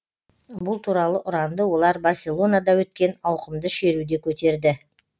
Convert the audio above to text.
бұл туралы ұранды олар барселонада өткен ауқымды шеруде көтерді